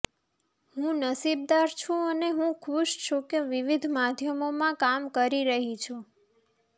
હું નસીબદાર છું અને હું ખુશ છું કે વિવિધ માધ્યમોમાં કામ કરી રહી છું